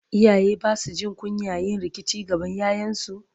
iyaye Basu Jin kunyan yin rikici gaban ƴaƴansu?